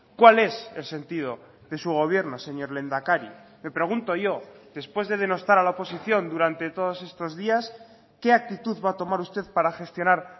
cuál es el sentido de su gobierno señor lehendakari me pregunto yo después de denostar a la oposición durante todos estos días qué actitud va a tomar usted para gestionar